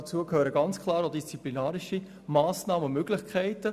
Dazu gehören ganz klar auch disziplinarische Massnahmen und Möglichkeiten.